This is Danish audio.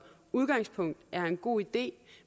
udgangspunkt er en god idé